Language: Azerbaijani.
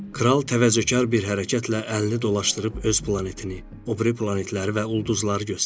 Kral təvazökar bir hərəkətlə əlini dolaşdırıb öz planetini, o biri planetləri və ulduzları göstərdi.